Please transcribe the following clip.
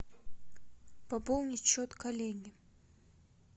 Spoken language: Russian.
пополнить счет коллеги